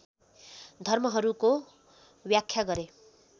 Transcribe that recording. धर्महरूको व्याख्या गरे